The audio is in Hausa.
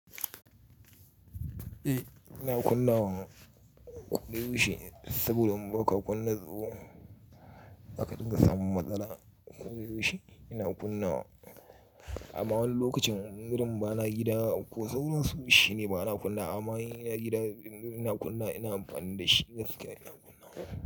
Eh ina kunna wa ƙoda yaushe saboda in ba ka kunna tsoho zaka dinga samun matsala. Koh da yaushe ina kunna wa. Amma wani lokacin wurin ba na gida ko da yaushe shi ne ba na kunna. Amma in ina gida ina kunna wa ina amfani da shi gaskiya ina kunna.